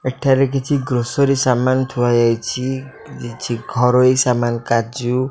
ଏଠାରେ କିଛି ଗ୍ରୋସରୀ ସାମାନ ଥୁଆ ଯାଇଚି। କିଛି ଘରୋଇ ସାମାନ କାଜୁ --